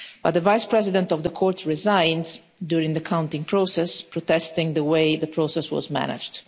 The Vice President of the Court resigned during the counting process, in protest at the way the process was managed.